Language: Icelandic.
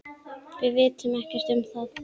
Við vitum ekkert um það.